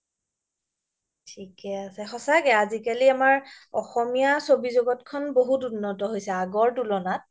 থিকে আছে সচাকে আজিকালি আমাৰ অসমীয়া চবি জগতখ্ন বহুত উন্নত হৈছে আগৰ তুলনাত